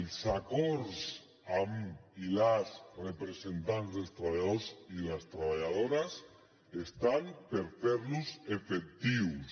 els acords amb els i les representants dels treballadors i les treballadores estan per ferlos efectius